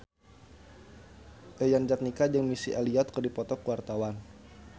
Yayan Jatnika jeung Missy Elliott keur dipoto ku wartawan